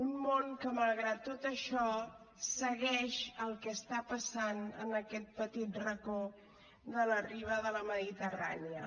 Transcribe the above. un món que malgrat tot això segueix el que està passant en aquest petit racó de la riba de la mediterrània